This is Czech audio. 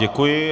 Děkuji.